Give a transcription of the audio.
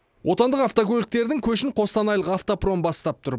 отандық автокөліктердің көшін қостанайлық автопром бастап тұр